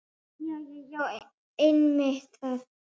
Jæja já, einmitt það.